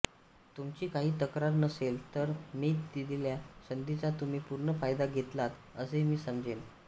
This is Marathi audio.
तुमची काही तक्रार नसेल तर मी दिलेल्या संधीचा तुम्ही पूर्ण फायदा घेतलात असे मी समजेन